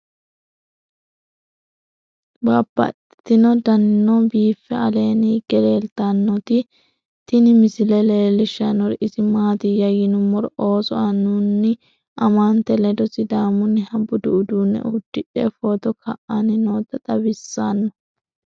Babaxxittinno daninni biiffe aleenni hige leelittannotti tinni misile lelishshanori isi maattiya yinummoro ooso annunna amatte ledo sidaamunniha buddu uudunne udidhe footto ka'anni nootta xawissanno.